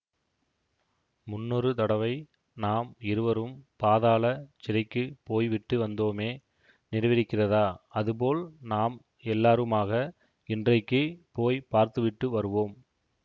முன்னொரு தடவை நாம் இருவரும் பாதாள சிறைக்கு போய்விட்டு வந்தோமே நினைவிருக்கிறதா அதுபோல் நாம் எல்லாருமாக இன்றைக்கு போய் பார்த்துவிட்டு வருவோம்